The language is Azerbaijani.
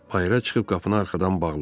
Bayıra çıxıb qapını arxadan bağladı.